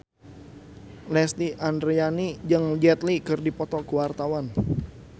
Lesti Andryani jeung Jet Li keur dipoto ku wartawan